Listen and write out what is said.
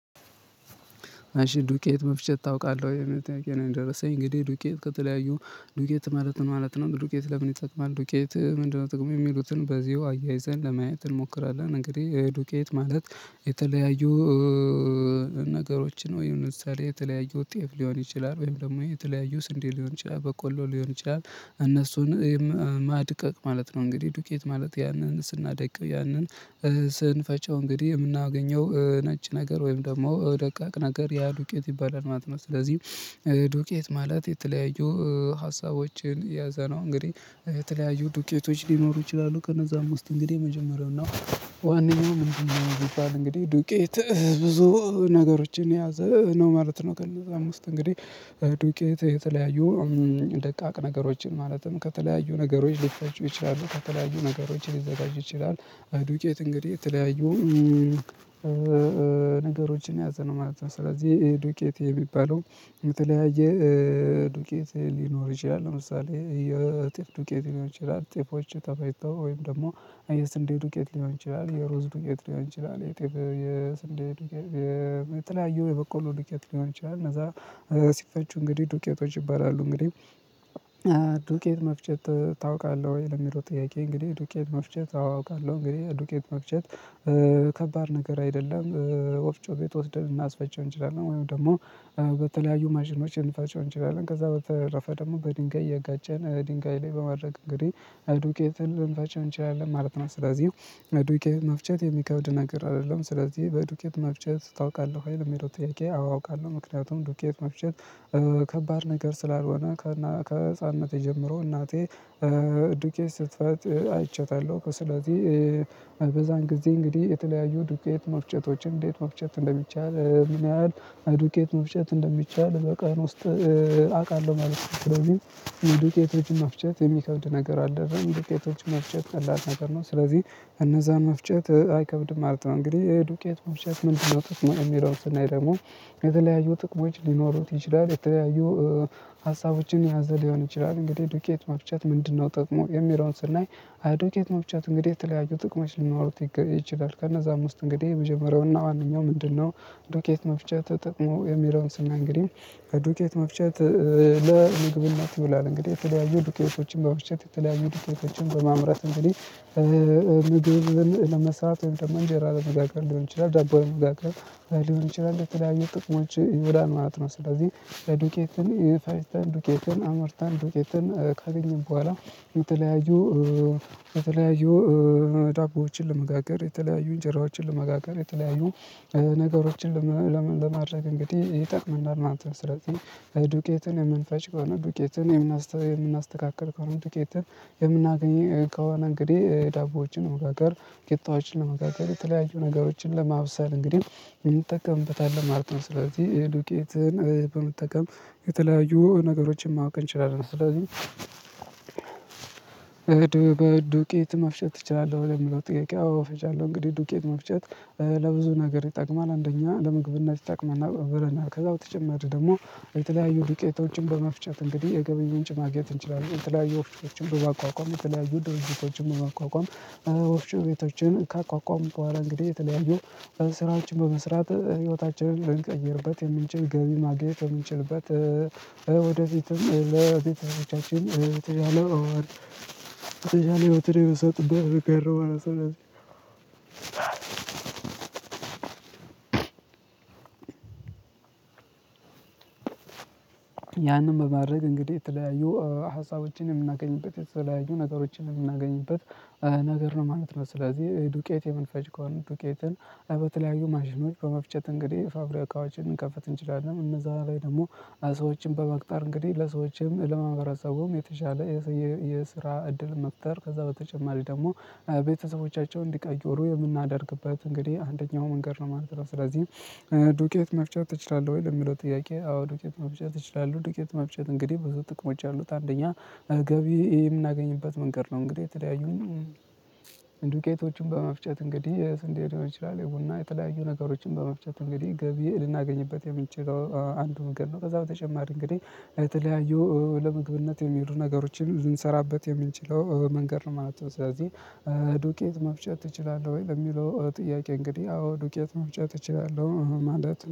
አሽ ዱቄት መፍጨት ታውቃለህ ወይ? የሚል ጥያቄ ነው የነደረሰኝ እንግዲህ ዱቄት ከተለያዮ ዱቄት ማለት ነው ማለት ነው? ዱቄት ለምን ይጠቅማል? ዱቄት ምንድነው ጥቅሙ? የሚሉትን በዚሁ አያይዘን ለማየት እንሞክራለን። እንግዲህ ዱቄት ማለት የተለያዩ ነገሮችን ወይም ለምሳሌ የተለያዩ ጤፍ ሊሆን ይችላል፤ ወይም ደግሞ የተለያዩ ስንዴ ሊሆን ይችላል፤ በቆሎ ሊሆን ይችላል እነሱን ማድቀቅ ማለት ነው። እንግዲህ ዱቄት ማለት ያንን ስናደቅ ያንን ስንፈጨው እንግዲህ የምናገኘው ነጭ ነገር ወይም ደግሞ ደቃቅ ነገር ያ ዱቄት ይባላል ማለት ነው። ስለዚህ ዱቄት ማለት የተለያዩ ሀሳቦችን ያያዘ ነው እንግዲህ። የተለያዩ ዱቄቶች ሊኖሩ ይችላሉ ከነዛ ም ውስት እንግዲህ የመጀመሪያው ነው ዋናው ምንድነው የሚባል እንግዲህ ዱቄት ብዙ ነገሮችን የያዘ ነው ማለት ነው ከነዛ ም ውስት እንግዲህ ዱቄት የተለያዩ ደቃቅ ነገሮችን ማለትም ከተለያዩ ነገሮች ሊፈጩ ይችላሉ። ቨከተለያዩ ነገሮች ሊዘጋጁ ይችላሉ። ዱቄት እንግዲህ የተለያየው ነገሮችን ያያዘነው ማለት ነው። ስለዚህ ይሄ ዱቄት የሚባለው የተለያየ ዱቄት ሊኖር ይችላ፤ ለምሳሌ የጤፍ ዱቄት ሊሆን ይችላል። ጤፎች ተፈጭተው ወይም ደግሞ የስንዴ ዱቄት ሊሆን ይችላል፤ የሩዝ ዱቄት ሊሆን ይችላል፤ የጤፍ፤ የስንዴ የተለያዩ የበቆሉ ዱቄት ሊሆን ይችላል እነዛ ሲፈጩ እንግዲህ ዱቄቶች ይባላሉ። እንግዲህ ዱቄት መፍጨት ታውቃለህ ወይ? ለሚለው ጥያቄ እንግዲህ ዱቄት መፍጨት አዎ አውቃለሁ። እንግዲህ ዱቄት መፍጨት ከባድ ነገር አይደለ፤ ወፍጮ ቤት ወስደን ልናስፈጨው እንችላለን ወይም ደግሞ በተለያዩ ማሽኖች ልንፈጨው እንችላለን። ከዛ በተረፈ ደግሞ በድንጋይ እያጋጨን ድንጋይ ላይ በማድረግ እንግዲህ ዱቄትን ልንፈጨው እንችላለን ማለት ነው። ስለዚህ በዱቄት መፍጨት የሚከብድ ነገር አይደለም ስለዚህ በዱቄት መፍጨት ታውቃለህ ወይ ለሚለው ጥያቄ? አውቃለሁ ምክንያቱም ዱቄት መፍጨት ከባድ ነገር ስላልሆነ ከህፃንነት ጀምርሮ እናቴ ዱቄት ስትፈጭ አይቻታለሁ ከስለዚህ በዛን ጊዜ እንግዲህ የተለያዩ ዱቄት መፍጨቶችን እንዴት መፍጨት እንደሚቻል ምን ያህል ዱቄት መፍጨት እንደሚቻል በቀን ውስጥ አውቃለሁ ማለት ነው። ስለዚህ ዱቄቶች መፍጨት፤ የሚከብድ ነገር አይደለም፤ ዱቄቶች መፍጨት ቀላል ነገር ነው። ስለዚህ እነዛን መፍጨት አይከብድ ማለት ነው እንግዲህ ዱቄት መፍጨት ምንድነው ጥቅሙ የሚለውን ስናይ ደግሞ የተለያዩ ጥቅሞች ሊኖሩት ይችላል፤ የተለያዩ ሀሳቦችን የያዘ ሊሆን ይችላል፤ እንግዲህ ዱቄት መፍጨት ምንድነው ጥቅሙ የሚለውን ስናይ? ዱቄት መፍጨት እንግዲህ የተለያዩ ጥቅሞች ሊኖሩት ይችላል። ከነዛም ውስጥ እንግዲህ የመጀመሪያውና ዋናው ምንድነው ዱቄት መፍጨት ጥቅሙ የሚለውን ስናይ ዱኬት መፍቸት ለምግብነት ይውላል እንግዲህ የተለያዩ ዱቄቶችን በብቸት የተለያዩ ዱኬቶችን በማምረት እንግዲህ ምግብን ለመስራት ወይም ደግሞ እንጀራ ለመጋገር ልሆን ይችላል ዳቦ ለመጋገር ሊሆን ይችላል ለተለያዪ ጥቅሞች ይውላል ማለት ነው። ስለዚህ ለዱቄትን ፈጨተን ዱቄትን አምርታን ዱቄትን ካገኘን በኋላ የተለያዩ የተለያዩ ዳቦዎችን ለመጋገር፤ የተለያዩ እንጀራዎችን ለመጋገር፤ የተለያዩ ነገሮችን ለማድረግ እንግዲህ ይጠቅምናል። እናንተ ስለዚህ ዱቄትን የምንፈጭ ከሆነ ዱቄትን የምናስተካክል ከሆነ ዱቄትን የምናገኘው ከሆነ እንግዲህ ዳቦዎችን መጋገር፤ ቂጣዎችን መጋገር የተለያዩ ነገሮችን ለማብሰል፤ እንግዲህ እንጠቀምበታለን ማለት ነው። ስለዚህ ዱቄትን በመጠቀም የተለያዩ ነገሮችን ማወቅ እንችላለን ስለዚህ ዱቄት መፍጨት ትችላለህ ወይ ለሚለው ጥያቄ አወ ፈጫለሁ። እንግዲህ ዱቄት መፍጨት ለብዙ ነገር ይጠቅማ፤ አንደኛ ለምግብና ይጠቅመናል ብለናል። ከዛ በተጨማሪ ደግሞ የተለያዩ ዱቄቶችን በመፍጨት እንግዲህ የገቢ ምንጭ ማግኘት እንችላለን የተለያዩ ወፍጮችን በማቋቋም፤ የተለያዩ ድርጅቶችን በማቋቋም፤ ወፍጮ ቤቶችን ካቋቋሙት በኋላ እንግዲህ የተለያዩ ስራዎችን በመስራት፤ ህይወታችንን ልንቀይርበት የምንች ገቢ ማግኘት የምንችልበት ወደፊትም ለቤተሰባችን የተሻለ ህይወትን የምንሰጥበት መንገድ ነው ማለት ነው። ያንን በማድረግ እንግዲህ የተለያዩ ሀሳቦችን፤ የምናገኝበት የተለያዩ ነገሮችን የምናገኝበት ነገር ነው ማለት ነው ስለዚህ ዱቄት የምንፈጅ ከሆነ ዱቄትን በተለያዩ ማሽኖች በመፍጨት እንግዲህ ፋብሪካዎችን እንከፍት እንችላለን እነዛው ላይ ደግሞ ሰዎችን በመቅጠር እንግዲህ ለሰዎችም ለማህበረሰቡም የተሻለ የስራ እድል መፍጠር ከዛ በተጨማሪ ደግሞ ቤተሰቦቻቸውን እንዲቀይሩ የምናደርግበት እንግዲህ አንደኛው መንገድ ነው ማለት ነው ስለዚህ ዱቄት መፍጨት ትችላለህ ወይ ለሚለው ጥያቄ አዎ ዱቄት መፍጨት እችላለሁ ዱቄት መፍጨት እንግዲህ ብዙ ጥቅሞች ያሉት አንደኛ ገቢ የምናገኝበት መንገድ ነው እንግዲህ የተለያዩኝ ዱቄቶችን በመፍጨት እንግዲህ የስንዴ ሊሆን ይችላል የቡና የተለያዩ ነገሮችን በመፍጨት እንግዲህ ገቢ ልናገኝበት የምንችለው አንዱ መንገድ ነው ከዛ በተጨማሪ እንግዲህ የተለያዩ ለምግብነት የሚውሉ ነገሮችን ልንሰራበት የምንችለው መንገድ ነው ማለት ነው ስለዚህ ዱቄት መፍጨት ትችላለህ ወይ ለሚለው ጥያቄ እንግዲህ አዎ ዱቄት መፍጨት እችላለሁ ማለት